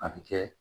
A bɛ kɛ